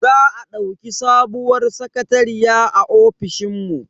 Za a dauki sabuwar sakatariya a ofishin mu.